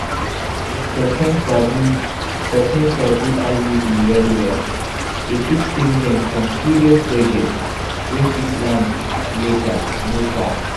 if person sabi person sabi iud well-well e fit save dem from serious gbege wey fit land later no cap